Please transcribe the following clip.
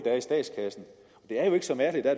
er i statskassen det er jo ikke så mærkeligt at